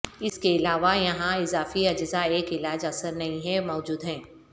اس کے علاوہ یہاں اضافی اجزاء ایک علاج اثر نہیں ہے موجود ہیں